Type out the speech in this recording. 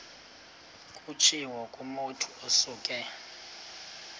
kutshiwo kumotu osuke